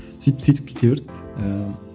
сөйтіп сөйтіп кете берді ііі